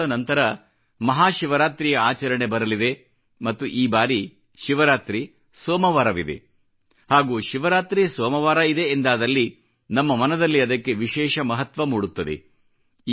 ಕೆಲ ದಿನಗಳ ನಂತರ ಮಹಾಶಿವರಾತ್ರಿಯ ಆಚರಣೆ ಬರಲಿದೆ ಮತ್ತು ಈ ಬಾರಿ ಶಿವರಾತ್ರಿ ಸೋಮವಾರವಿದೆ ಹಾಗೂ ಶಿವರಾತ್ರಿ ಸೋಮವಾರವಿದೆ ಎಂದಾದಲ್ಲಿ ನಮ್ಮ ಮನದಲ್ಲಿ ಅದಕ್ಕೆ ವಿಶೇಷ ಮಹತ್ವ ಮೂಡುತ್ತದೆ